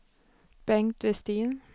Bengt Westin